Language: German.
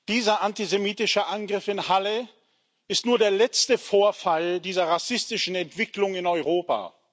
Dieser antisemitische Angriff in Halle ist nur der letzte Vorfall dieser rassistischen Entwicklung in Europa.